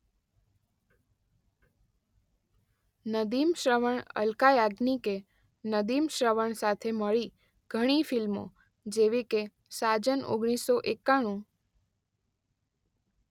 નદીમ-શ્રવણ અલકા યાજ્ઞિકે નદીમ-શ્રવણ સાથે મળીને ઘણી ફિલ્મો જેવીકે સાજન ઓગણીસો એકાણું